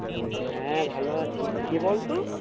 হ্যাঁ ভালো আছি কে বলতো?